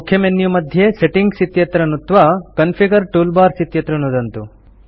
मुख्य मेन्यू मध्ये सेटिंग्स् इत्यत्र नुत्त्वा कॉन्फिगर टूलबार्स इत्यत्र नुदन्तु